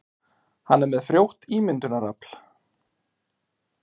Hann er með frjótt ímyndunarafl.